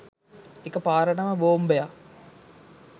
එක පාරටම බෝම්බයක්